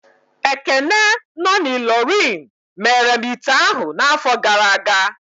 Ekene no na Illorin mere m ite ahụ n'afọ gara aga